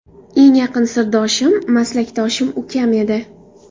Eng yaqin sirdoshim, maslakdoshim ukam edi.